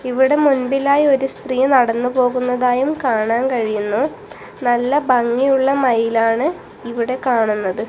ഇവിടെ മുൻപിലായി ഒരു സ്ത്രീ നടന്നു പോകുന്നതായും കാണാൻ കഴിയുന്നു നല്ല ഭംഗിയുള്ള മയിലാണ് ഇവിടെ കാണുന്നത്.